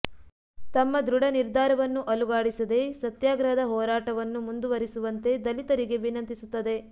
ತಮ್ಮ ದೃಢ ನಿರ್ಧಾರವನ್ನು ಅಲುಗಾಡಿಸದೆ ಸತ್ಯಾಗ್ರಹದ ಹೋರಾಟವನ್ನು ಮುಂದುವರಿಸುವಂತೆ ದಲಿತರಿಗೆ ವಿನಂತಿಸುತ್ತದೆ